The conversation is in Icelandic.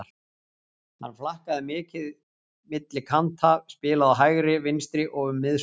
Hann flakkaði milli kanta, spilaði á hægri, vinstri og um miðsvæðið.